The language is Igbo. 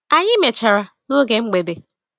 Anyi mechara n'oge mgbede.